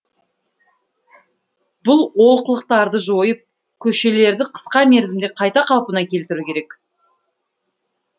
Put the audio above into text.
бұл олқылықтарды жойып көшелерді қысқа мерзімде қайта қалпына келтіру керек